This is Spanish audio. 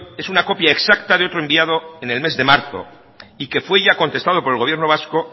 es una copia exacta de otro enviado en el mes de marzo y que fue ya contestado por el gobierno vasco